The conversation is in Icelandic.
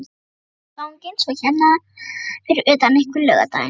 Og afganginn svo hérna fyrir utan einhvern laugardaginn?